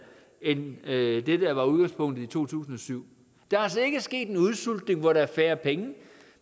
end det der var udgangspunktet i to tusind og syv der er altså ikke sket en udsultning hvor der er færre penge